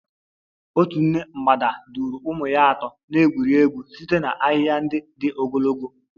Otu nne mgbada duru ụmụ ya atọ na-egwuri egwu site na ahịhịa ndị dị ogologo.